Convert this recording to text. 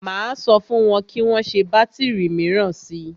Máa sọ fún wọn kí wọn gbé bátìrì míràn si.